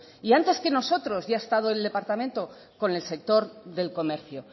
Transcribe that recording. y antes que nosotros ya ha estado el departamento con el sector del comercio